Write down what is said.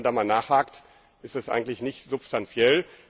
Aber wenn man da mal nachhakt, ist das eigentlich nicht substanziell.